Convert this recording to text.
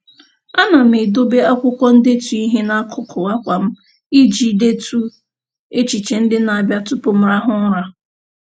A na m edobe akwụkwọ ndetu ihe n'akụkụ akwa m iji detu echiche ndị na-abịa tụpụ m rahụ ụra.